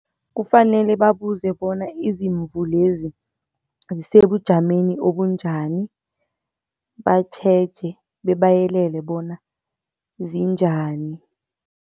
Kufanele babuze bona izimvu lezi zisebujameni obunjani, batjheje bebayelele bona zinjani.